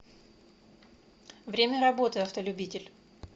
время работы автолюбитель